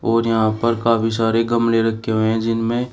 और यहां पर काफी सारे गमले रखे हुए हैं जिनमें।